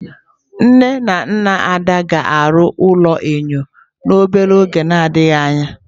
Nne na nna Ada ga-arụ ụlọ enyo n'oge na-adịghị anya.